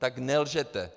Tak nelžete!